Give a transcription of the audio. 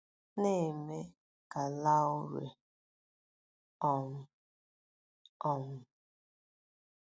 na - eme ka Laurie um. um